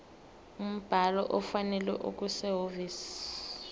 umbhalo ofanele okusehhovisi